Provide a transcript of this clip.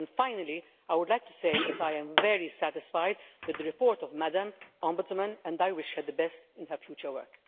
Finally, I would like to say that I am very satisfied with the report of the Ombudsman and I wish her the best in her future work.